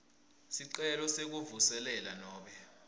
sicelo sekuvuselela nobe